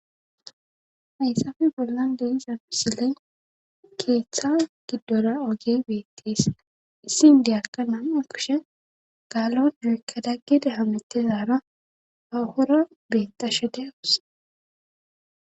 haysafe bollan deizapisile keeththa giddola oge beettees issin diyakka naama kushe gaalon yoykka daggede hametezaara hahora betashe deawus